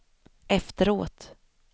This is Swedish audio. efteråt